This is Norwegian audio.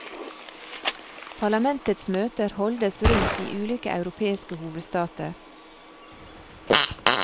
Parlamentets møter holdes rundt i ulike europeiske hovedstater.